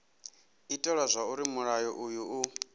itela zwauri mulayo uyu u